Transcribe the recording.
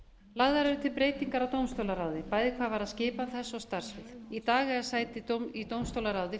lagðar eru til breytingar á dómstólaráði bæði hvað varðar skipan þess og starfssvið í dag eiga sæti í dómstólaráði